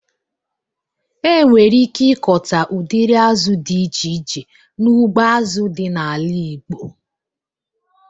E nwere ike ịkọta udiri azụ dị iche iche n'ugbo azụ dị n'ala igbo